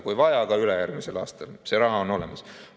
Kui vaja, siis teha ka ülejärgmisel aastal, see raha on olemas.